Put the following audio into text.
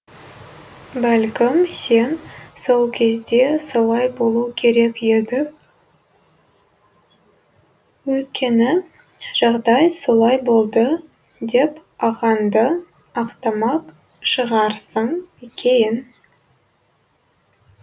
бәлкім сен сол кезде солай болу керек еді өйткені жағдай солай болды деп ағаңды ақтамақ шығарсың кейін